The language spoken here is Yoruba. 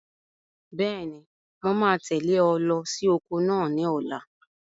Bẹ́ẹ̀ni, mo máa tẹ̀lé ọ lọ sí oko náà ní ọ̀la.